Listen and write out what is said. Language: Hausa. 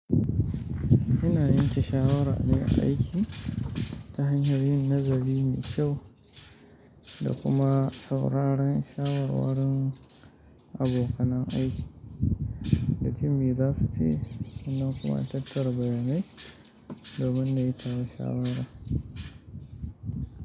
Ina yanke shawara ne a aiki ta hanyar yin nazari mai kyau da kuma sauraron shawarwarun abokan aiki da jin mai za su ci, nan kuma na tattara bayanai domin na yi shawara.